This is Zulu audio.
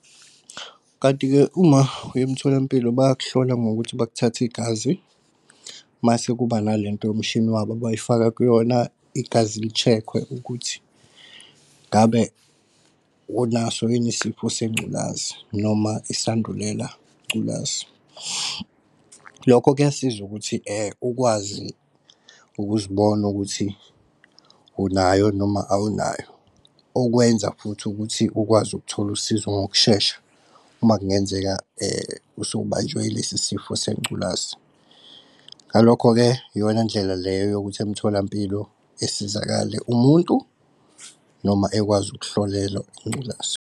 Kanti-ke uma uyemtholampilo bayakuhlola ngokuthi bakuthathe igazi masekuba nalento yomshini wabo abayifaka kuyona igazi li-check-we ukuthi ngabe unaso yini isifo sengculazi noma isandulela ngculazi. Lokho kuyasiza ukuthi ukwazi ukuzibona ukuthi unayo noma awunayo, okwenza futhi ukuthi ukwazi ukuthola usizo ngokushesha uma kungenzeka usubanjwe ilesi sifo sengculazi. Ngalokho-ke iyona ndlela leyo yokuthi emtholampilo esizakale umuntu noma ekwazi ukuhlolelwa ingculazi.